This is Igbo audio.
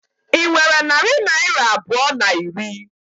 Ị nwere narị naira abụọ na iri?